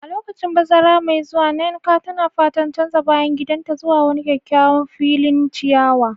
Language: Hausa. A lokacin bazara mai zuwa, Nneka na fatan canza bayan gidanta zuwa wani kyakkyawan filin ciyawa.